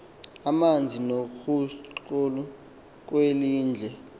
amanzi noguculo kwelindle